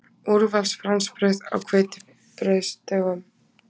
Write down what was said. Úrvals fransbrauð á hveitibrauðsdögunum!